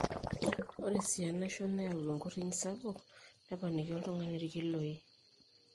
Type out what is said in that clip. ore sii enaisho neyau enkurriny sapuk neponiki oltung'ani irkiloi